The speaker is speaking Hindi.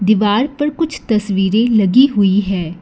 दीवार पर कुछ तस्वीरें लगी हुई हैं।